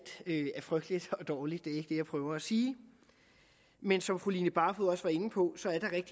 er frygteligt og dårligt det er ikke det jeg prøver at sige men som fru line barfod også var inde på